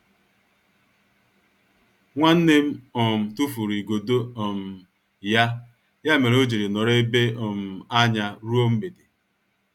Nwannem um tufụrụ igodo um ya, ya mere ojiri nọrọ ebe um anya ruo mgbede.